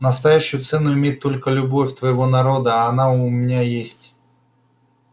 настоящую цену имеет только любовь твоего народа а она у меня есть